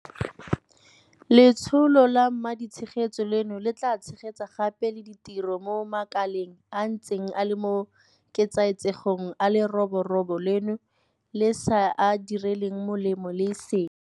Letsholo la maditshegetso leno le tla tshegetsa gape le ditiro mo makaleng a a ntseng a le mo ketsaetsegong a leroborobo leno le sa a direlang molemo le e seng.